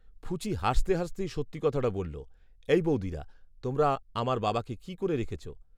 ফুচি হাসতে হাসতেই সত্যি কথাটা বলল, "এই বৌদিরা, তোমরা আমার বাবাকে কী করে রেখেছ?"